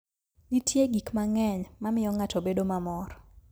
Nitie gik mang'eny ma miyo ng'ato bedo mamor.